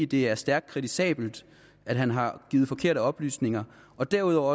det er stærkt kritisabelt at han har givet forkerte oplysninger derudover